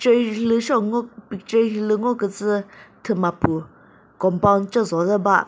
ture hilü seo ngo picture hilü ngo kütsü thüma püh compound ce jo de ba.